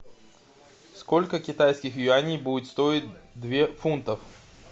сколько китайских юаней будет стоить две фунтов